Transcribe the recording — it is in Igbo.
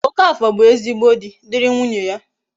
Okafor bu ezigbo di, diri nwunye ya